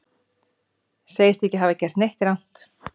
Segist ekki hafa gert neitt rangt